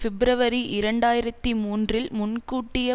பிப்ரவரி இரண்டு ஆயிரத்தி மூன்றில் முன்கூட்டிய